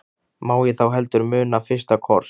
Má ég þá heldur muna FYRSTA KOSS.